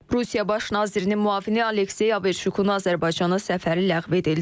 Rusiya baş nazirinin müavini Aleksey Averşukunu Azərbaycana səfəri ləğv edildi.